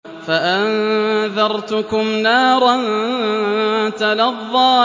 فَأَنذَرْتُكُمْ نَارًا تَلَظَّىٰ